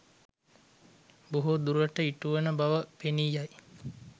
බොහෝ දුරට ඉටුවන බව පෙනී යයි.